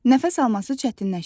Nəfəs alması çətinləşir.